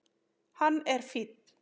Hann er fínn.